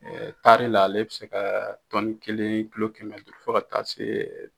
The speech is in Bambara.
Taari la ale bɛ se ka tɔnni kelen, kilo kɛmɛ di fo ka taa se